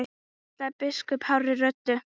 kallaði biskup hárri röddu.